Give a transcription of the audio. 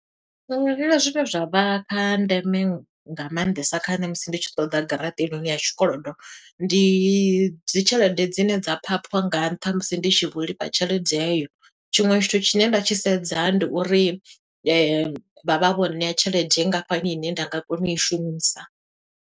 Ṅwalela zwine zwa vha kha ndeme nga maanḓesa kha nṋe musi ndi tshi ṱoḓa garaṱa heinoni tshikolodo. Ndi dzi tshelede dzine dza phaṱhwa nga nṱha musi ndi tshi vho lifha tshelede heyo. Tshiṅwe tshithu tshine nda tshi sedza, ndi uri vha vha vho ṋea tshelede nngafhani ine nda nga kona u i shumisa.